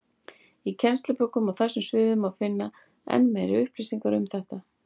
Í kennslubókum á þessum sviðum má finna enn meiri upplýsingar um þetta.